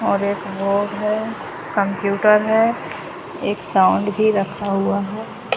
और एक बोर्ड है कंप्यूटर है एक साउंड भी रखा हुआ है।